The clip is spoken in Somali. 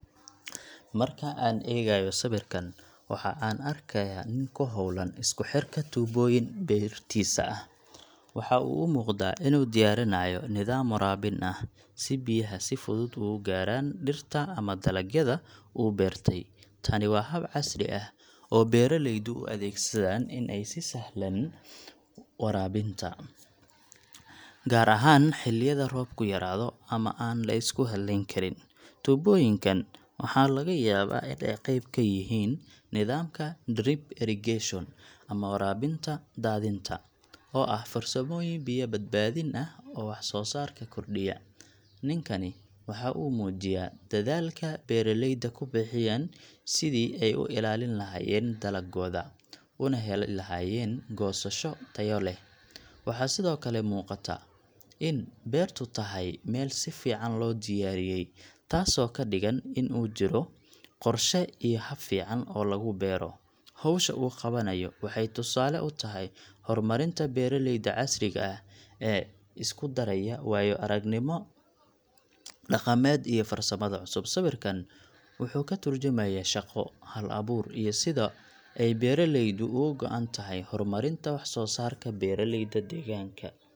Marka aan eegayo sawirkan, waxa aan arkayaa nin ku hawlan isku xirka tuubooyin beertiisa ah. Waxa uu u muuqdaa inuu diyaarinayo nidaam waraabin ah, si biyaha si fudud ugu gaaraan dhirta ama dalagyada uu beertay. Tani waa hab casri ah oo beeraleyda u adeegsadaan in ay si sahlan waraabinta, gaar ahaan xilliyada roobku yaraado ama aan la isku hallayn karin. Tuubooyinkan waxa laga yaabaa in ay qayb ka yihiin nidaamka drip irrigation ama waraabinta daadinta, oo ah farsamooyin biyo-badbaadin ah oo wax-soo-saarka kordhiya. Ninkani waxa uu muujiyaa dadaalka beeraleyda ku bixiyaan sidii ay u ilaalin lahaayeen dalaggooda, una heli lahaayeen goosasho tayo leh. Waxaa sidoo kale muuqata in beertu tahay meel si fiican loo diyaariyey, taasoo ka dhigan in uu jiro qorshe iyo hab fiican oo lagu beero. Hawsha uu qabanayo waxay tusaale u tahay horumarinta beeralayda casriga ah ee isku daraya waayo-aragnimada dhaqameed iyo farsamada cusub. Sawirkan wuxuu ka tarjumayaa shaqo, hal-abuur, iyo sida ay beeraleydu uga go’an tahay horumarinta wax-soo-saarka beeraleyda deegaanka.